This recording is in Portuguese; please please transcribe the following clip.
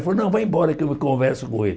Ela falou, não, vai embora que eu converso com ele.